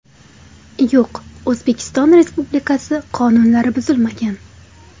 Yo‘q, O‘zbekiston Respublikasi qonunlari buzilmagan!!